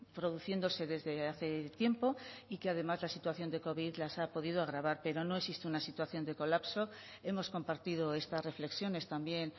produciéndose desde hace tiempo y que además la situación de covid las ha podido agravar pero no existe una situación de colapso hemos compartido estas reflexiones también